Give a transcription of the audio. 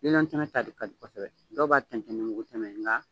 Lilɔn tɛmɛ ta de kadi kɔsɛbɛ, dɔw b'a tɛntɛn ni mugu tɛmɛ ye nka